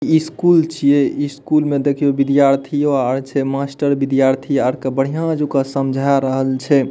इ स्कूल छिये इ स्कूल मे देखियो विद्यार्थियों आर छै मास्टर विद्यार्थी आर के बढ़िया जका समझा रहल छै।